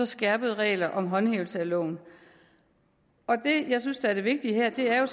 skærpede regler om håndhævelse af loven det jeg synes er det vigtige her er